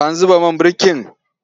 An zuba man birkin?